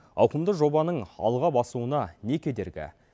ауқымды жобаның алға басуына не кедергі